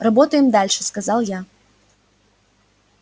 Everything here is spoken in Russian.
работаем дальше сказал я